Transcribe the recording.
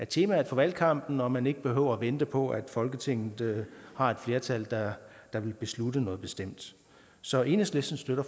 temaet for valgkampen og man ikke behøver at vente på at folketinget har et flertal der vil beslutte noget bestemt så enhedslisten støtter